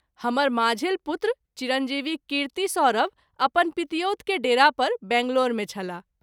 हमर माँझिल पुत्र चि० कीर्ति सौरभ अपन पितिऔत के डेरा पर बैंगलोर मे छलाह।